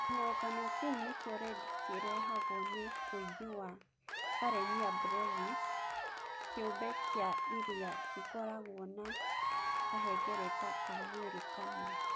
Kĩhuhũkanio kĩu nĩkĩo Red kĩrehagwo nĩ ũingĩ wa Karenia brevis, kĩũmbe kĩa iria kĩkoragwo na kahengereta ka mwĩrĩ kamwe.